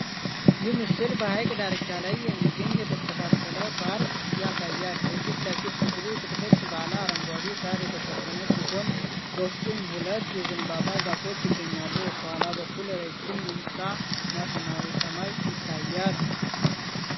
ይህ ምስል በሐይቅ ዳርቻ ላይ የሚገኝ የተስተካከለ ፓርክ ያሳያል። የፊት ለፊት ክፍሉ ጥቅጥቅ ባለ አረንጓዴ ሣር የተሸፈነ ሲሆን፥ በውስጡም ሁለት የዘንባባ ዛፎች ይገኛሉ። ከኋላ በኩል ረዥም ሕንፃ እና ሰማያዊ ሰማይ ይታያል።